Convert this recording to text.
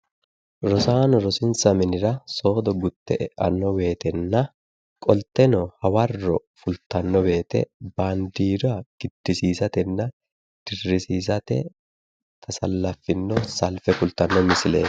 Rosaano rosinsa minira gutte e'anno woytenna qolte hawarro fultanno woyte baandiira giddisiinsanni woyte dirrisiisate tasallafino salfe kultanno salfeeti